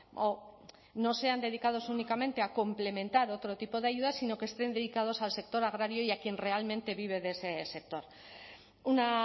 o no sean dedicados únicamente a complementar otro tipo de ayudas sino que estén dedicados al sector agrario y a quien realmente vive de ese sector una